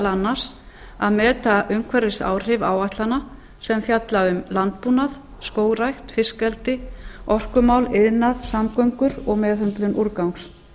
annars að meta umhverfisáhrif áætlana sem fjalla um landbúnað skógrækt fiskeldi orkumál iðnað samgöngur og meðhöndlun úrgangs